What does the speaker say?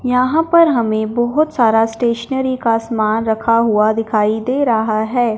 यहां पर हमें बहुत सारा स्टेशनरी का समान रखा हुआ दिखाई दे रहा है।